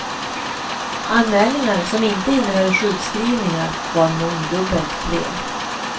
Anmälningar som inte innehöll sjukskrivningar var mångdubbelt fler.